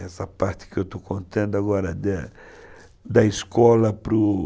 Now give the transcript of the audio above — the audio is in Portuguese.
Essa parte que eu estou contando agora, da da escola para o...